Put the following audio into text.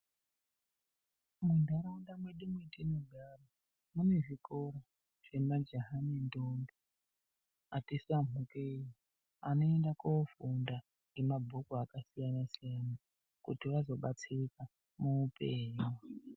Muntaraunta mwedu mwetinogara mune zvikora zvemajaha nendombi ati samhukei anoenda koofunda ngemabhuku akasiyana siyana kuti vazobatsirika muupenyu.